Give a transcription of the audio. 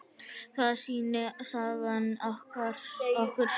Það sýnir sagan okkur.